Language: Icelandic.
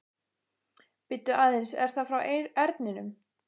Bíddu aðeins, er það frá Erninum?